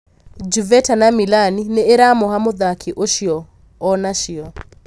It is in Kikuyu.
Juveta na Milani nĩiramũha mũthaki ũcio onacio.